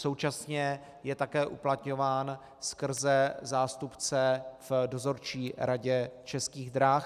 Současně je také uplatňován skrze zástupce v dozorčí radě Českých drah.